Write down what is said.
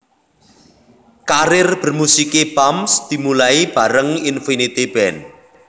Karir bermusiké Bams dimulai bareng Infinity Band